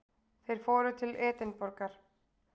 Þeir fóru til Edinborgar.